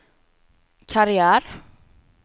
karriär